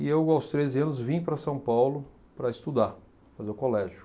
E eu, aos treze anos, vim para São Paulo para estudar, fazer o colégio.